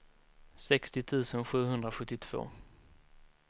sextio tusen sjuhundrasjuttiotvå